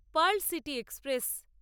pearl city express